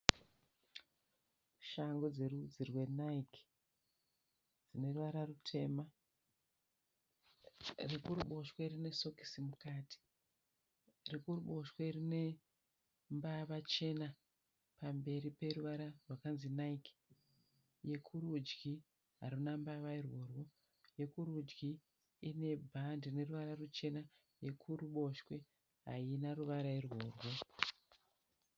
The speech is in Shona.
Shangu dzerudzi rweNike dzine ruvara rutema rekuruboshwe rine sokisi mukati rekuruboshwe rine mbava chena pamberi peruvara rwakanzi Nike, rekurudyi haruna mbava irworwo, yekurudyi ine bhande neruvara ruchena yekuruboshwe haina ruvara irworwo.